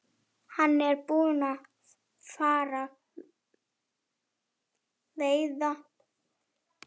Hann er búinn að fara víða.